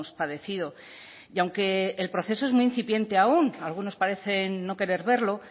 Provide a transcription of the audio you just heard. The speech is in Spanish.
padecido y aunque el proceso es muy incipiente aún algunos parecen no querer verlo